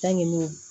Ta ɲini